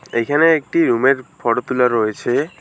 এখানে একটি রুমের ফোটো তুলা রয়েছে।